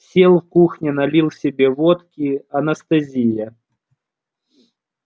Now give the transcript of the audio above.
сел в кухне налил себе водки анестезия